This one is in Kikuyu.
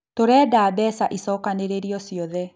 Tũrenda mbeca icokanĩrĩrio ciothe